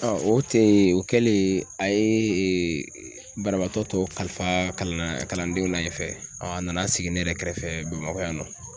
o tɛ yen o kɛlen a ye e banabaatɔ tɔ kalifa kalandenw la yen fɛ a nana sigi ne yɛrɛ kɛrɛfɛ bamakɔ yan nɔ.